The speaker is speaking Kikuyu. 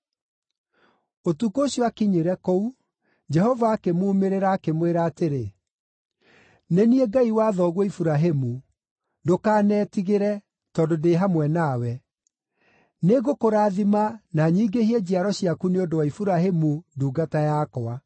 Ũtukũ ũcio aakinyire kũu, Jehova akĩmuumĩrĩra, akĩmwĩra atĩrĩ, “Nĩ niĩ Ngai wa thoguo Iburahĩmu. Ndũkanetigĩre, tondũ ndĩ hamwe nawe; nĩngũkũrathima na nyingĩhie njiaro ciaku nĩ ũndũ wa Iburahĩmu ndungata yakwa.”